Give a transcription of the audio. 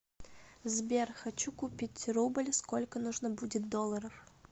сбер хочу купить рубль сколько нужно будет долларов